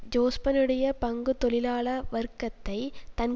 ஜோஸ்பனுடைய பங்கு தொழிலாள வர்க்கத்தை தன்